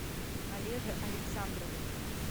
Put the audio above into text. олеже александрове